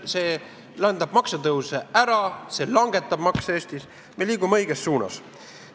See jätab maksutõuse ära, see langetab makse Eestis – me liigume õiges suunas.